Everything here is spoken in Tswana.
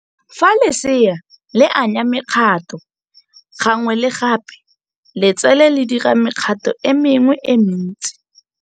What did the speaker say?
Fa lesea le anya mekgato gangwe le gape, letsele le dira mekgato e mengwe e mentsi.